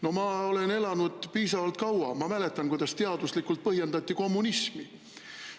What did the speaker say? No ma olen elanud piisavalt kaua ja ma mäletan, kuidas teaduslikult põhjendati kommunismi.